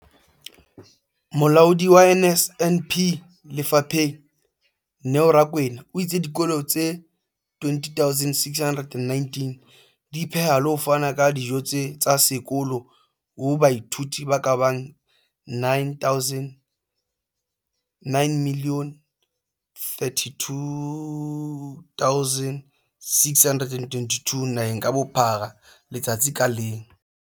Molaodi wa NSNP lefapheng, Neo Rakwena, o itse dikolo tse 20 619 di pheha le ho fana ka dijo tsa sekolo ho baithuti ba ka bang 9 032 622 naheng ka bophara letsatsi ka leng.